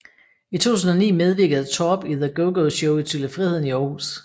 I 2009 medvirkede Torp i The GoGo Show i Tivoli Friheden i Aarhus